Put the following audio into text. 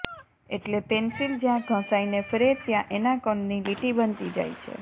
એટલે પેન્સિલ જ્યાં ઘસાઈને ફ્રે ત્યાં એના કણની લીટી બનતી જાય છે